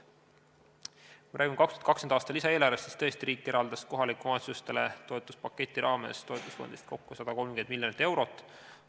Kui me räägime 2020. aasta lisaeelarvest, siis tõesti riik eraldas kohalikele omavalitsustele toetuspaketi raames toetusfondist kokku 130 miljonit eurot.